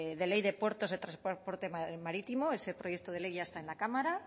de ley de puertos de transporte marítimo ese proyecto de ley ya está en la cámara